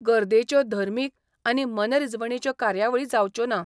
गर्दैच्यो धर्मिक आनी मनरिजवणेच्यो कार्यावळी जावच्यो ना.